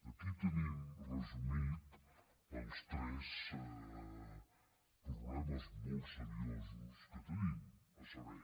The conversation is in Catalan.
aquí tenim resumits els tres problemes molt seriosos que tenim a saber